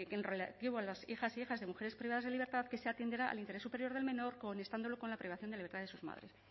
en relativo a las hijas e hijos de mujeres privadas de libertad que se atenderá al interés superior del menor con la privación de libertad de sus madres